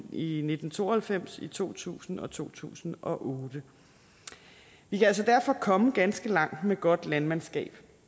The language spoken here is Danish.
i i nitten to og halvfems to tusind og to tusind og otte vi kan altså derfor komme ganske langt med godt landmandskab